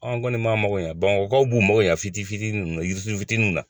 An kɔni b'an mako ɲɛ Bamakɔkaw b'u mako ɲɛ fitinin fitinin nunnu na jiri fitinin fitininw na.